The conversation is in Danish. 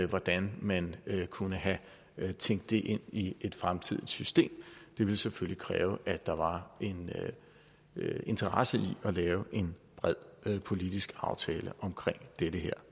hvordan man kunne have tænkt det ind i et fremtidigt system det ville selvfølgelig kræve at der var en interesse i at lave en bred politisk aftale omkring dette